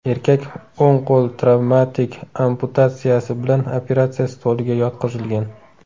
Erkak o‘ng qo‘l travmatik amputatsiyasi bilan operatsiya stoliga yotqizilgan.